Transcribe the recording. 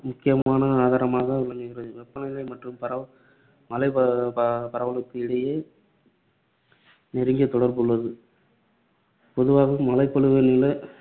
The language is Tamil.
முக்கியமான ஆதாரமாக விளங்குகிறது. வெப்ப நிலை மற்றும், பரவ~ மழைபரவ~ பரவ~ பரவலுக்கும் இடையே நெருங்கிய தொடர்பு உள்ளது. பொதுவாக மழைப்பொழிவு நில